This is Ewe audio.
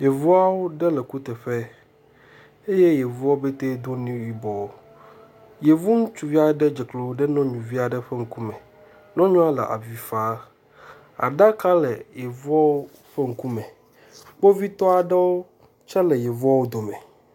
Yevuawo ɖe le kuteƒe eye yevuawo pɛtɛ do nu yibɔ. Yevu ŋutsuvi aɖe dze klo ɖe nyɔnuvi aɖe ƒe ŋkume. Nyɔnua le avi fam. Aɖaka le yevuawo ƒe ŋkume. Kpovitɔ ɖewo tse le yevua ƒe ŋkume.